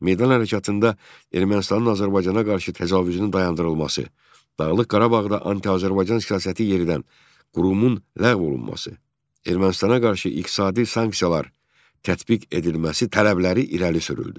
Meydan hərəkatında Ermənistanın Azərbaycana qarşı təcavüzünün dayandırılması, Dağlıq Qarabağda anti-Azərbaycan siyasəti yeridən qurumun ləğv olunması, Ermənistana qarşı iqtisadi sanksiyalar tətbiq edilməsi tələbləri irəli sürüldü.